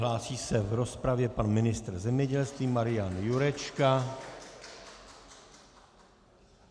Hlásí se v rozpravě pan ministr zemědělství Marian Jurečka.